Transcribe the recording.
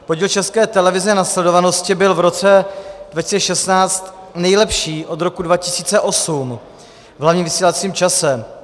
Podíl České televize na sledovanosti byl v roce 2016 nejlepší od roku 2008 v hlavním vysílacím čase.